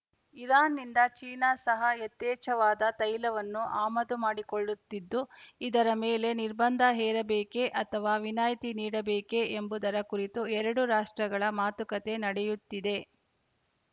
ಇರಾನ್‌ನಿಂದ ಚೀನಾ ಸಹ ಯಥೇಚ್ಛವಾದ ತೈಲವನ್ನು ಆಮದು ಮಾಡಿಕೊಳ್ಳುತ್ತಿದ್ದು ಇದರ ಮೇಲೆ ನಿರ್ಬಂಧ ಹೇರಬೇಕೆ ಅಥವಾ ವಿನಾಯ್ತಿ ನೀಡಬೇಕೆ ಎಂಬುದರ ಕುರಿತು ಎರಡೂ ರಾಷ್ಟ್ರಗಳ ಮಾತುಕತೆ ನಡೆಯುತ್ತಿದೆ